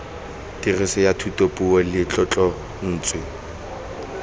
tiriso ya thutapuo le tlotlontswe